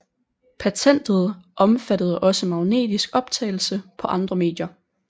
Patentet omfattede også magnetisk optagelse på andre medier